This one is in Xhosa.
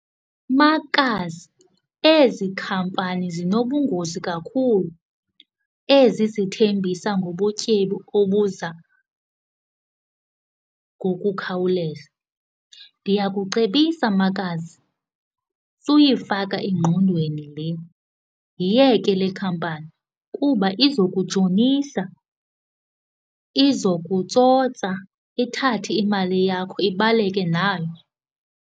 Makazi, ezi khampani zinobungozi kakhulu ezi zithembisa ngobutyebi obuza ngokukhawuleza. Ndiyakucebisa makazi suyifaka engqondweni le. Yiyeke le khampani kuba iza kutshonisa, iza kutsotsa ithathe imali yakho ibaleke nayo.